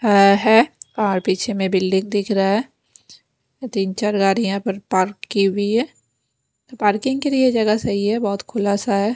अ है और पीछे में बिल्डिंग दिख रहा है तीन चार गाड़ियां पार्क की हुई है पार्किंग के लिए जगह सही है बहोत खुलासा है।